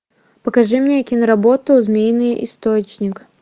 покажи мне кино работу змеиный источник